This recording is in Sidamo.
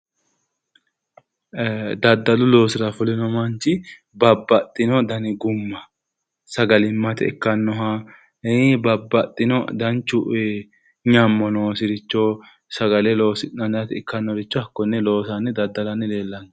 Daddalu loosira fulino manchi babbaxxino dani gumma sagalimmate ikkannoha babbaxxino fanchu nyammo noosiricho sagale loosi'nanni ikkannoricho hakkonne loosanni daddalanni leellanno.